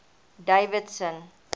davidson